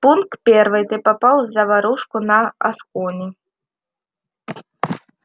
пункт первый ты попал в заварушку на аскони